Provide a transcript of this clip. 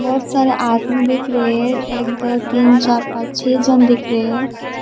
बहुत सारे आदमी दिख रहे हैं एक दो तीन चार पांच छे जन दिख रहे हैं।